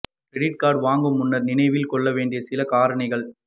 credit card வாங்கும் முன்னர் நினைவில் கொள்ள வேண்டிய சில காரணிகள்